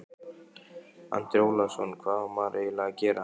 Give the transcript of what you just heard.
Andri Ólafsson: Hvað á maður eiginlega að gera?